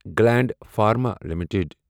Gland Pharma limited